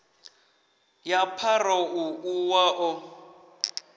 ya pharou ḽu wa ḓo